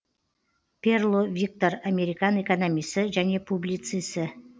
перло виктор американ экономисі және публицисі